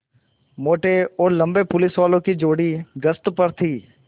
मोटे और लम्बे पुलिसवालों की जोड़ी गश्त पर थी